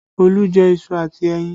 Olu jẹ iṣu àti ẹyin